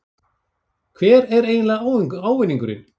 Hver er eiginlega ávinningurinn?